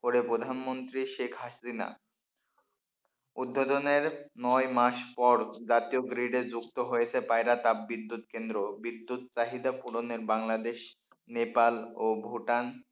করে প্রধানমন্ত্রী শেখ হাসিনা। উদ্বোধনের নয় মাস পর জাতীয় grid য়ে যুক্ত হয়েছে পায়রা তাপবিদ্যুৎ কেন্দ্র, বিদ্যুৎ চাহিদা পূরণের বাংলাদেশ নেপাল ও ভুটান,